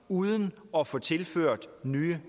uden at få tilført nye